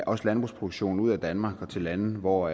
også landbrugsproduktion ud af danmark og til lande hvor